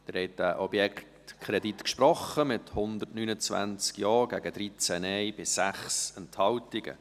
Sie haben diesem Objektkredit gesprochen, mit 129 Ja- gegen 13 Nein-Stimmen bei 6 Enthaltungen.